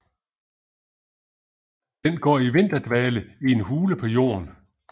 Den går i vinterdvale i en hule i jorden